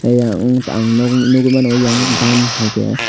tei ang nogoi mano eyang bantai ke.